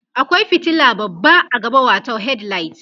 akwai fitila babba a gaba watau headlight